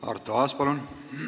Arto Aas, palun!